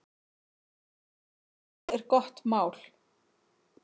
Hvað er gott mál?